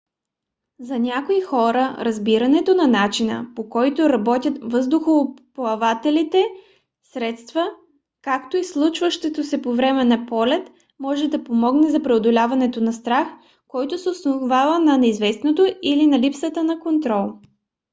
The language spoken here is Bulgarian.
за някои хора разбирането на начина по който работят въздухоплавателните средства както и случващото се по време на полет може да помогне за преодоляване на страх който се основава на неизвестното или на липсата на контрол